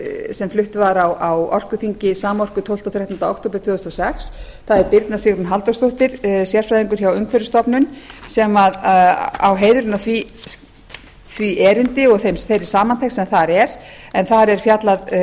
sem flutt var á orkuþingi samorku tólfta og þrettánda október tvö þúsund og sex það er birna sigrún halldórsdóttir sem er sérfræðingur hjá umhverfisstofnun sem á heiðurinn af því erindi og þeirri samantekt sem þar er en þar er fjallað